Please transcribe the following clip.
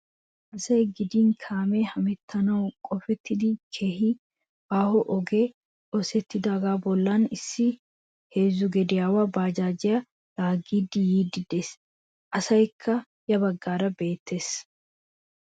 Asay gidin kaamee hemettanwu qofettidi keehi aaho ogee oosettidaa bollaara issi heezzu gediyawa baajaajiya laaggidi yiiddi de'ees. Asaykka ya baggaara beettees.